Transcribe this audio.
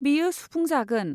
बेयो सुफुंजागोन।